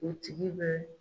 O tigi bɛ